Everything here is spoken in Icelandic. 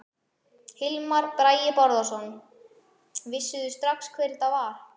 Hilmar Bragi Bárðarson: Vissuð þið strax hvað þetta var?